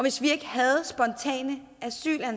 isoleret